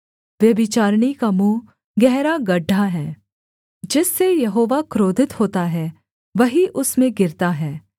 व्यभिचारिणी का मुँह गहरा गड्ढा है जिससे यहोवा क्रोधित होता है वही उसमें गिरता है